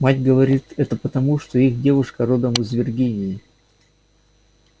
мать говорит это потому что их девушка родом из виргинии